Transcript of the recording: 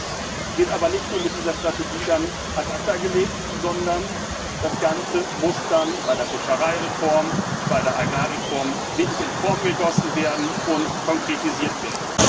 Das wird aber nicht nur mit dieser Strategie ad acta gelegt, sondern das Ganze muss dann bei der Fischereireform, bei der Agrarreform wirklich in Form gegossen und konkretisiert werden.